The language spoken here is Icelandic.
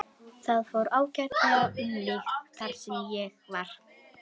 Það fór ágætlega um mig þar sem ég var.